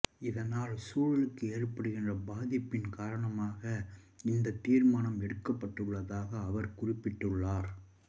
இதனால் சூழலுக்கு ஏற்படுகின்ற பாதிப்பின் காரணமாக இந்த தீர்மானம் எடுக்கப்பட்டுள்ளதாக அவர் குறிப்பிட்டுள்ளார்